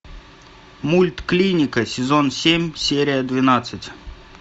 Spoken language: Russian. мульт клиника сезон семь серия двенадцать